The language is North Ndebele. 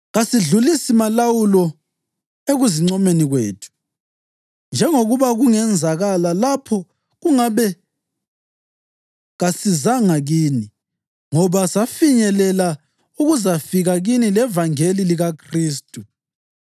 Kasedlulisi malawulo ekuzincomeni kwethu, njengokuba kungenzakala lapho kungabe kasizanga kini, ngoba safinyelela ukuzafika kini levangeli likaKhristu.